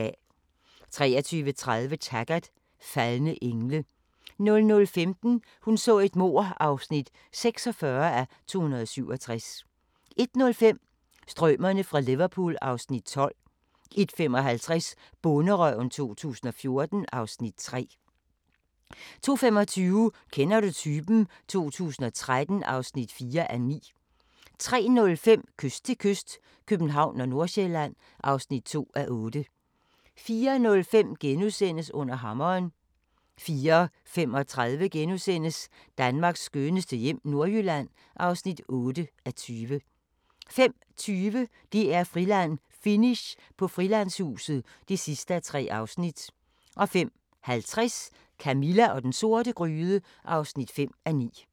23:30: Taggart: Faldne engle 00:15: Hun så et mord (46:267) 01:05: Strømerne fra Liverpool (Afs. 12) 01:55: Bonderøven 2014 (Afs. 3) 02:25: Kender du typen? 2013 (4:9) 03:05: Kyst til kyst - København/Nordsjælland (2:8) 04:05: Under hammeren * 04:35: Danmarks skønneste hjem - Nordjylland (8:20)* 05:20: DR-Friland: Finish på Frilandshuset (3:3) 05:50: Camilla og den sorte gryde (5:9)